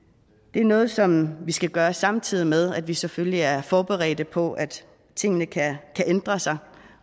det er noget som vi skal gøre samtidig med at vi selvfølgelig er forberedte på at tingene kan ændre sig